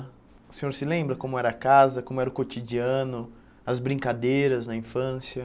O senhor se lembra como era a casa, como era o cotidiano, as brincadeiras na infância?